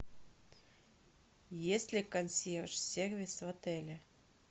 есть ли консьерж сервис в отеле